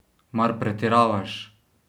Mar pretiravaš?